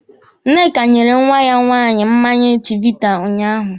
Nneka nyere nwa ya nwaanyị mmanya chivita unyaahụ.